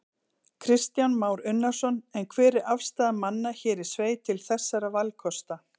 Kristján Már Unnarsson: En hver er afstaða manna hér í sveit til þessara valkosta?